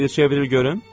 Bir çevril görün.